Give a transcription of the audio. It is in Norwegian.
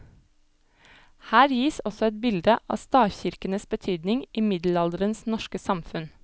Her gis også et bilde av stavkirkenes betydning i middelalderens norske samfunn.